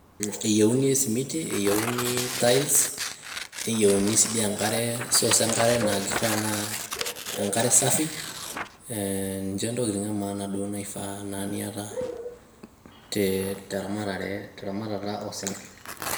Eyieuni esimiti ,eyiuni tiles, niyieuni sii di enkare source enkare naa kifaa naa enkare safi ee ninhe ntokitin e maana naa nifaa niata teramatare teramatata oosinkir.